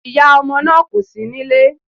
Ìyá ọmọ náà kò sí nílé